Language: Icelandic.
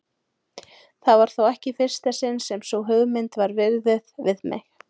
Það var þó ekki í fyrsta sinn sem sú hugmynd var viðruð við mig.